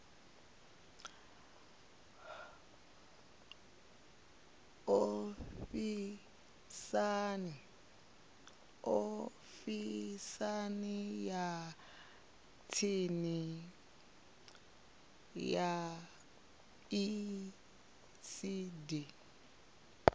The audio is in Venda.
ofisini ya tsini ya icd